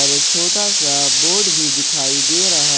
एक छोटा सा बोर्ड भी दिखाई दे रहा--